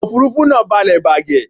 Ọkọ òfúrufú náà balẹ̀ bàgẹ̀